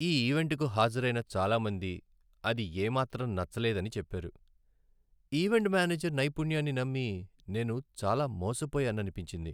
ఈవెంటుకు హాజరైన చాలా మంది అది ఏమాత్రం నచ్చలేదని చెప్పారు, ఈవెంట్ మేనేజర్ నైపుణ్యాన్ని నమ్మి నేను చాలా మోసపోయాననిపించింది.